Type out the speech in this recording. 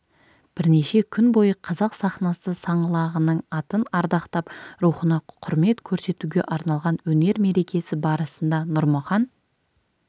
бірнеше күн бойы қазақ сахнасы саңлағының атын ардақтап рухына құрмет көрсетуге арналған өнер мерекесі барысында нұрмұхан